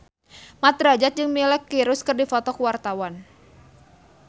Mat Drajat jeung Miley Cyrus keur dipoto ku wartawan